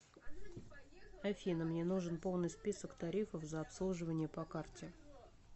афина мне нужен полный список тарифов за обслуживание по карте